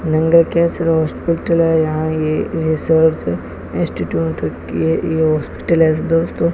Cancer hospital है यहां यह रिसर्च इंस्टीट्यूट की ये हॉस्पिटल है दोस्तों।